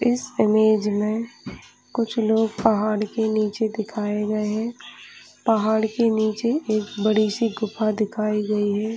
इस इमेज में कुछ लोग पहाड़ के नीचे दिखाई गए है पहाड़ के नीचे एक बड़ी सी गुफा दिखाई गयी है।